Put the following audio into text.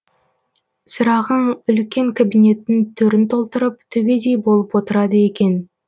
сырағаң үлкен кабинеттің төрін толтырып төбедей болып отырады екен